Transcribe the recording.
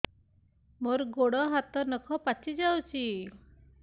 ମୋର ଗୋଡ଼ ହାତ ନଖ ପାଚି ଯାଉଛି